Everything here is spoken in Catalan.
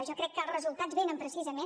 jo crec que els resultats venen precisament